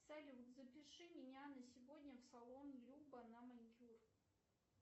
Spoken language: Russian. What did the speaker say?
салют запиши меня на сегодня в салон люба на маникюр